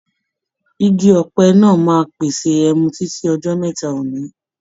Igi òpẹ náà máa pèsè ẹmu títí ọjọ́ mẹ́ta òní.